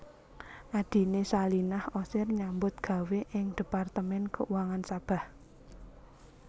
Adhiné Salinah Osir nyambut gawé ing Departemen Keuangan Sabah